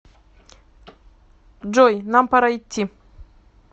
джой нам пора идти